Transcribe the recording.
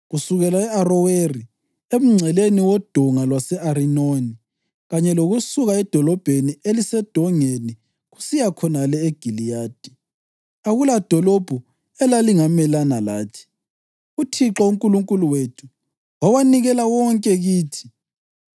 Kusukela e-Aroweri emngceleni wodonga lwase-Arinoni, kanye lokusuka edolobheni elisedongeni, kusiya khonale eGiliyadi, akuladolobho elalingamelana lathi. UThixo uNkulunkulu wethu wawanikela wonke kithi.